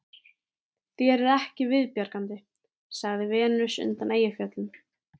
Þér er ekki viðbjargandi, sagði Venus undan Eyjafjöllum